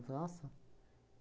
Nossa!